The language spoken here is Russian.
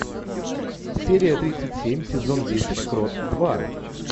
серия тридцать семь сезон десять крот два